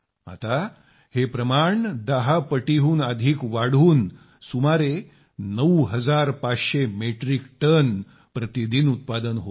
आता हे दहा पटीहून अधिक वाढून सुमारे 9500 मेट्रिक टन प्रतिदिन उत्पादन होते